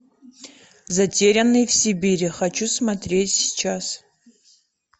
затерянный в сибири хочу смотреть сейчас